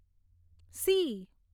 C